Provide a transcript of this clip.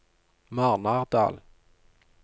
Marnardal